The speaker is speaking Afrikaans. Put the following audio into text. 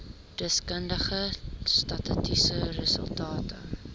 deskundige statistiese resultate